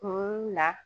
Kun na